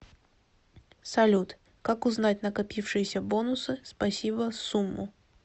салют как узнать накопившиеся бонусы спасибо сумму